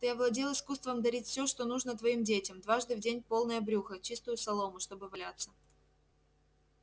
ты овладел искусством дарить всё что нужно твоим детям дважды в день полное брюхо чистую солому чтобы валяться